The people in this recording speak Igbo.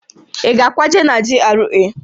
Ị ga-akwaje na GRA?